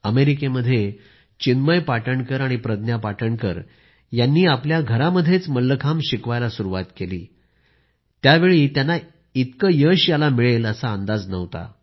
अमेरिकेत चिन्मय पाटणकर आणि प्रज्ञा पाटणकर यांनी आपल्या घरातच मल्लखांब शिकवायला सुरूवात केली तेव्हा त्यांना याला इतकं यश मिळेल याचा अंदाजही नव्हता